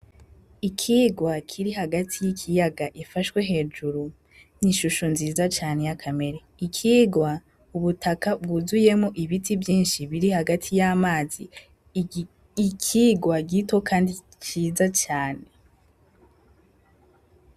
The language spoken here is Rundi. Ikigwa kiri hagati y' ikiyaga gifashwe hejuru n' ishusho nziza cane y' akamerere, ikigwa ubutaka bwuzuyemwo ibiti vyinshi biri hagati y' amazi ikigwa gito kandi ciza cane.